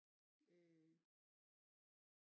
Øh